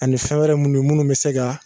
Ani fɛn wɛrɛ munnu munnu be se ga